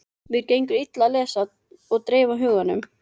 Mér gengur illa að lesa og dreifa huganum.